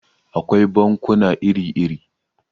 Akwai bankuna iri-iri.